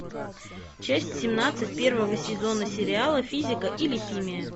часть семнадцать первого сезона сериала физика или химия